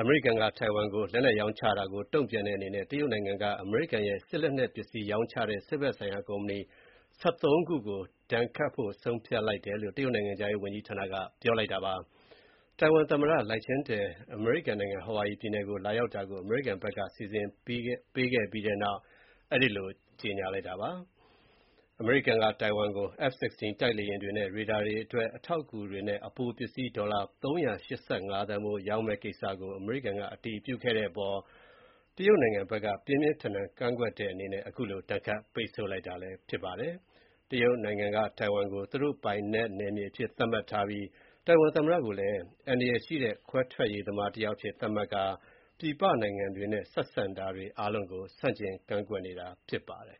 အမေရိကန်က ထိုင်ဝမ်ကိုလက်နက်ရောင်းချတာတုံ့ပြန်တဲ့အနေနဲ့ အမေရိကန်ရဲ့ စစ်လက်နက်ပစ္စည်း ရောင်းချတဲ့ စစ်ဘက်ဆိုင်ရာကုမ္ပဏီ ၁၃ ခုကို တရုတ်နိုင်ငံက ဒဏ်ခတ်ပိတ်ဆို့ဖို့ ဆုံးဖြတ်လိုက်တယ်လို့ တရုတ်နိုင်ငံခြားရေးဝန်ကြီးဌာနက ပြောပါတယ်။ ထိုင်ဝမ်သမ္မတ Lai Ching-te အမေရိကန်နိုင်ငံ ဟာဝါရီပြည်နယ်ကို လာရောက်တာကို အမေရိကန်ဘက်က စီစဉ်ပေးခဲ့ပြီးတဲ့နောက် အဲဒီလို ကြေညာလိုက်တာပါ။ အမေရိကန်က ထိုင်ဝမ်ကို F-16 တိုက်လေယာဉ်တွေနဲ့ ရေဒါတွေအတွက် အထောက်အကူတွေနဲ့ အပိုပစ္စည်း ဒေါ်လာ၃၈၅ သန်းဖိုး ရောင်းမယ့်ကိစ္စကို အမေရိကန်က အတည်ပြုခဲ့တဲ့အပေါ်မှာ တရုတ်နိုင်ငံဘက်က ပြင်းပြင်းထန်ထန်ကန့်ကွက်ခဲ့တဲ့အနေနဲ့ အခုလို ဒဏ်ခတ် ပိတ်ဆို့လိုက်တာ ဖြစ်ပါတယ်။ တရုတ်နိုင်ငံက ထိုင်ဝမ်ကို သူတို့ပိုင်နယ်မြေအဖြစ်သတ်မှတ်ထားပြီး၊ ထိုင်ဝမ်သမ္မတကိုလည်း အန္တရာယ်ရှိတဲ့ ခွဲထွက်ရေးသမားတယောက်အဖြစ် သတ်မှတ်ထားပြီး ပြည်ပနိုင်ငံတွေနဲ့ ဆက်ဆံတာတွေအားလုံးကို ဆန့်ကျင်ကန့်ကွက်နေတာဖြစ်ပါတယ်